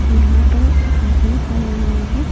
यहां पे आदमी खड़े हुए हैं।